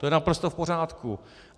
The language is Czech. To je naprosto v pořádku.